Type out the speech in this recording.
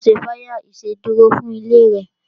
Ṣé wa ṣe fire ìsedúró fún ilé rẹ?